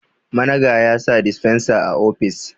managa ya sa disfensa a ofis